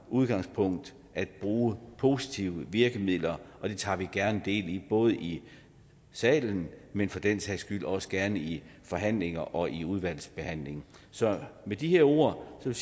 udgangspunkt at bruge positive virkemidler det tager vi gerne del i både i salen men for den sags skyld også gerne i forhandlinger og i udvalgsbehandlingen så med de her ord vil